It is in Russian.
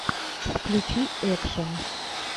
включи экшен